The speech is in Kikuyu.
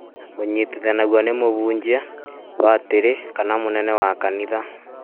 ũnyitithanagio nĩ mũhunjia, badĩrĩ kana mũnene wa kanitha